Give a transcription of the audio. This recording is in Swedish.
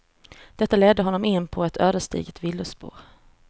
Detta ledde honom in på ett ödesdigert villospår.